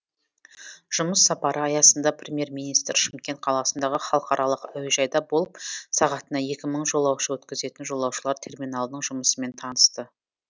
жұмыс сапары аясында премьер министр шымкент қаласындағы халықаралық әуежайда болып сағатына екі мың жолаушы өткізетін жолаушылар терминалының жұмысымен танысты